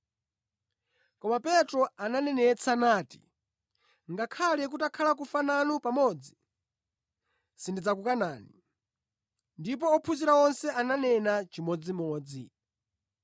Koma Petro ananenetsa nati, “Ngakhale kutakhala kufa nanu pamodzi, sindidzakukanani.” Ndipo ophunzira onse ananena chimodzimodzi.